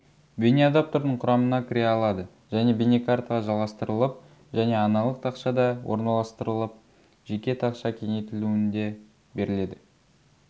бейнеадаптердің құрамына кіре алады және бейнекартаға жалғастырылып және аналық тақшада орналастырылып жеке тақша кеңейтілуінде беріледі